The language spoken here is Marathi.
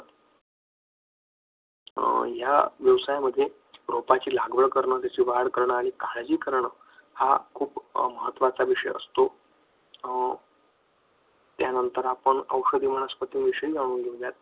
ह्या व्यवसायामध्ये रोपाची लागवड करणे त्याची वाढ करणे त्याची काळजी करणं हा खूप महत्त्वाचा विषय असतो. यानंतर आपण औषधी वनस्पती विषयी जाणून घेऊया.